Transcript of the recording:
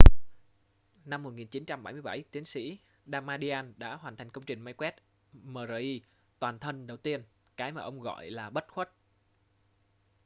năm 1977 tiến sĩ damadian đã hoàn thành công trình máy quét mri toàn thân đầu tiên cái mà ông gọi là bất khuất